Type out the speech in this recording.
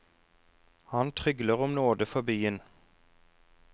Han trygler om nåde for byen.